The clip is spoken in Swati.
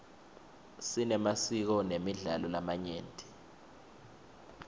sinemasiko nemidlalo lamanyenti